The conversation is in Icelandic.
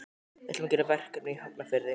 Við ætlum að gera verkefni í Hafnarfirði.